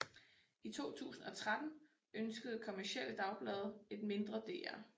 I 2013 ønskede kommercielle dagblade et mindre DR